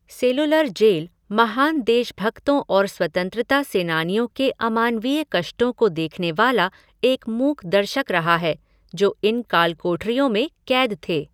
Cellular Jail महान देशभक्तों और स्वतंत्रता सेनानियों के अमानवीय कष्टों को देखने वाला एक मूक दर्शक रहा है जो इन काल कोठरियों में कैद थे।